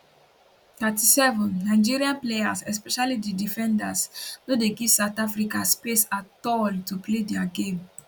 37 nigeria players especially di defenders no dey give south africa space at all to play dia game